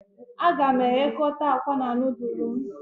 Aga m eghekota akwa na nudulu m